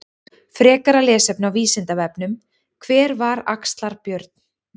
Frekara lesefni á Vísindavefnum: Hver var Axlar-Björn?